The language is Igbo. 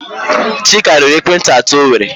Chika rere ekwentị atọ o nwere.